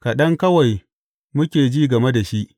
Kaɗan kawai muke ji game da shi!